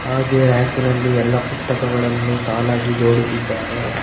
ಹಾಗೆ ರ್ಯಕಿನಲ್ಲಿ ಎಲ್ಲಾ ಪುಸ್ತಕಗಳನ್ನು ಸಾಲಾಗಿ ಜೋಡಿಸಿದ್ದಾರೆ.